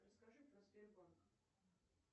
расскажи про сбербанк